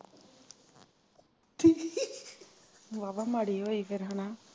ਕੀ ਵਾਹ ਵਾਹ ਮਾੜੀ ਹੋਈ ਫੇਰ ਇਹਨਾਂ